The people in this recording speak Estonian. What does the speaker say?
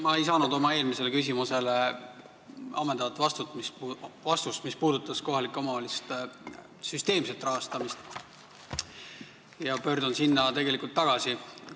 Ma ei saanud oma eelmisele küsimusele, mis puudutas kohalike omavalitsuste süsteemset rahastamist, ammendavat vastust, ja pöördun selle juurde tagasi.